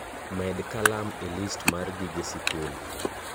med kalam e list mar gige sikul